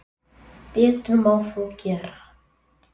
Betur má þó gera.